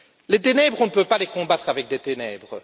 Les ténèbres, on ne peut pas les combattre avec des ténèbres.